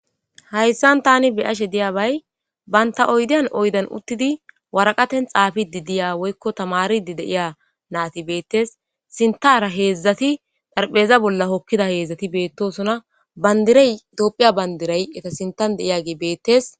hayssan tani beyashe diyabay banta oydiyan oydan uttidi waraqaten xaafidi diya woykko tamaridi deiya naati beettes sintara heedzdzati dharpheza bolla hokkida heedzdzati beettosona bandirey itoophiya bandiray eta sintan deiya gi beettes